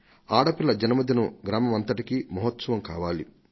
ఆడ పిల్ల జన్మదినం గ్రామమంతటికీ మహోత్సవం కావాలి